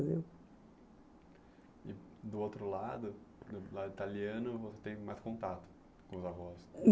E do outro lado, do lado italiano, você tem mais contato com os avós?